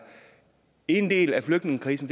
en del af flygtningekrisen